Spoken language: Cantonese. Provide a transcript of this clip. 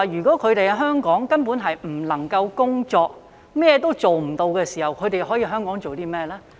當他們在香港根本不能夠工作，甚麼也做不到時，他們可以在香港做甚麼？